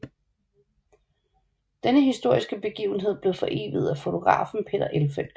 Denne historiske begivenhed blev foreviget af fotografen Peter Elfelt